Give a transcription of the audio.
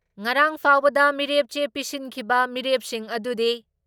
ꯉꯔꯥꯥꯡ ꯐꯥꯎꯕꯗ ꯃꯤꯔꯦꯞ ꯆꯦ ꯄꯤꯁꯤꯟꯈꯤꯕ ꯃꯤꯔꯦꯞꯁꯤꯡ ꯑꯗꯨꯗꯤ